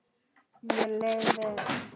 Mér leið vel.